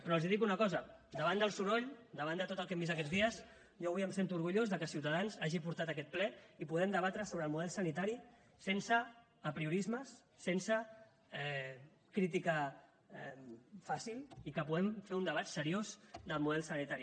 però els dic una cosa davant del soroll davant de tot el que hem vist aquests dies jo avui em sento orgullós que ciutadans hagi portat aquest ple i puguem debatre sobre el model sanitari sense apriorismes sense crítica fàcil i que puguem fer un debat seriós del model sanitari